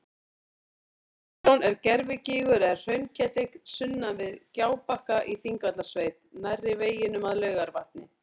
Tintron er gervigígur eða hraunketill sunnan við Gjábakka í Þingvallasveit nærri veginum að Laugarvatni.